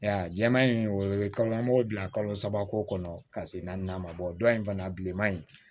Ya jɛman in o ye kalo an b'o dilan kalo saba ko kɔnɔ ka se naani ma bɔ in fana bilenman in